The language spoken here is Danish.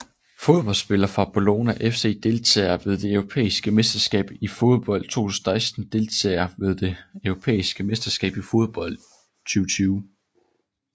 Fodboldspillere fra Bologna FC Deltagere ved det europæiske mesterskab i fodbold 2016 Deltagere ved det europæiske mesterskab i fodbold 2020